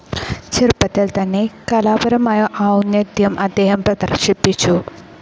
ചെറുപ്പത്തിൽ തന്നെ കലാപരമായ ഔന്നത്യം അദ്ദേഹം പ്രദർശിപ്പിച്ചു.